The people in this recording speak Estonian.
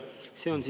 Aitäh!